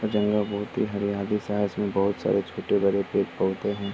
जंगल बहुत ही हरियाली सा है इसमें बहुत सारे छोटे-बड़े पेड़ पौधे है।